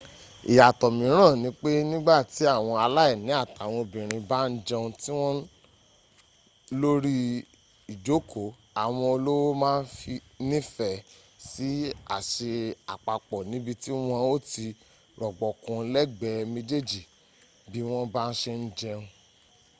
ìyàtọ́ míràn nipé nígbàtí àwọn aláìní àtawọn obìnrin bá ń jẹun tiwọn lórí ìjókòó àwọn olówó ma ń nífẹ̀ẹ́ sí àsè àpapọ̀ níbití wọn ó ti rọ̀gbọ̀kún lẹ́gbẹ̀ẹ́ méjìjì bí wọ́n bá se ń jẹun